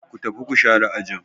Ku tafi ku share ajin.